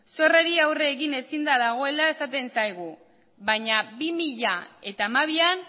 zorrei aurre egin ezinda dagoela esaten zaigu baina bi mila hamabian